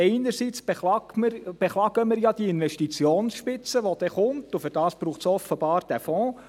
Einerseits beklagen wir ja die Investitionsspitze, die kommen wird, und dafür braucht es offenbar den Fonds.